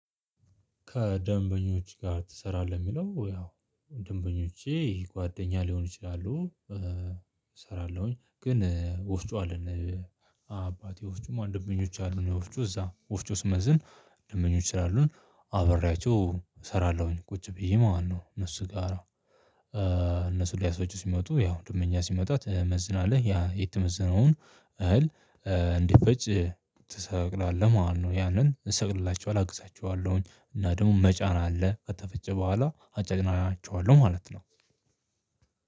ከደንበኞች ጋር ትሰራለህ? የሚለው ያው ደንበኞቼ ጓደኛ ሊሆኑ ይችላሉ፣ እሰራለሁኝ ግን ወፍጮ አለን አባቴ ወፍጮም ደንበኞች አሉን የወፍጮ እዛ ወፍጮ ስመዝን ደንበኞች ስላሉን አብሪቸው እሰራለሁኝ ቁጭ ብዬ ማነው እነሱ ጋራ እነሱ ሊያስፈጩ ሲመጡ ያው ደንበኛ ሲመጣ ትመዝናለህ ያ የተመዘነውን እህል እንዲፈጭ ትሰቅላለህ ማለት ነው ያንን እሰቅልላችሁ አግዛቸዋለሁኝ እና ደግሞ መጫን አለ ከተፈጨ በኋላ አጫጭናቸዋለሁ ማለት ነው።